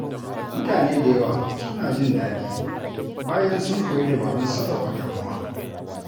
Mutane da yawa suna jin daɗi bayan sun koyi dabarun sarrafa damuwa.